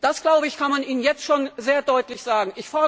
Das kann man Ihnen jetzt schon sehr deutlich sagen.